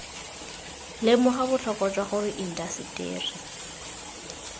lemoga botlhokwa jwa gore indaseteri